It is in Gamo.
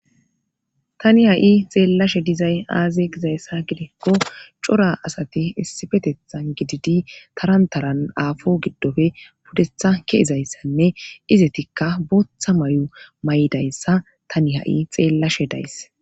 tani ha7i xeellashe dizay aaze gizayssa gidekko cora asati issifetethan gididi tarantaran aafo giddofe pudetha keizayssanne izetikka booththa may7o may7dayssa tani ha7i xeellashe days